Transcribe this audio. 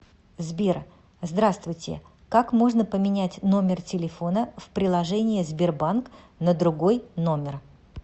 сбер здравствуйте как можно поменять номер телефона в приложение сбербанк на другой номер